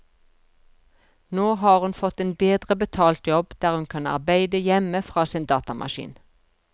Nå har hun fått en bedre betalt jobb, der hun kan arbeide hjemme fra sin datamaskin.